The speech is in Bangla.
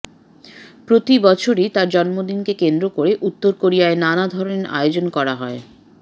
প্রতিবছরই তার জন্মদিনকে কেন্দ্র করে উত্তর কোরিয়ায় নানা ধরনের আয়োজন করা হয়